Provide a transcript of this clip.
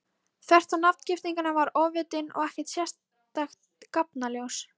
Þvert á nafngiftina var ofvitinn ekkert sérstakt gáfnaljós.